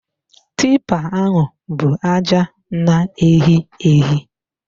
Tipa ahụ bụ aja na-ehi ehi